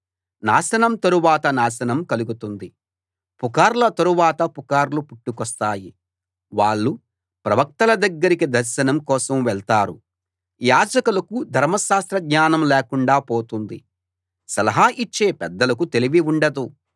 నాశనం తరువాత నాశనం కలుగుతుంది పుకార్ల తరువాత పుకార్లు పుట్టుకొస్తాయి వాళ్ళు ప్రవక్తల దగ్గరికి దర్శనం కోసం వెళ్తారు యాజకులకు ధర్మశాస్త్ర జ్ఞానం లేకుండా పోతుంది సలహా ఇచ్చే పెద్దలకు తెలివి ఉండదు